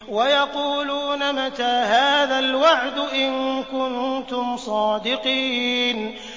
وَيَقُولُونَ مَتَىٰ هَٰذَا الْوَعْدُ إِن كُنتُمْ صَادِقِينَ